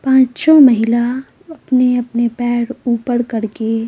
पांचों महिला अपने-अपने पैर ऊपर करके--